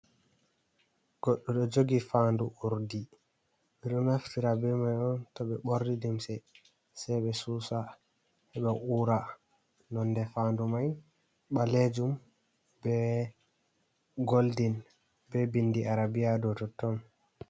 Goɗɗo ɗo jogi fanɗu urɗi. biɗo naftira be mai on to be borni limse sai be susa heba ura. Nonɗe fanɗu mai balejum be golɗen be binɗi arabia ɗow totton.